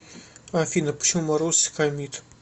афина почему маруся хамит